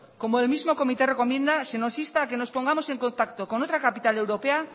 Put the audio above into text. como el mismo comité recomienda se nos insta a que nos pongamos en contacto con otra capital europea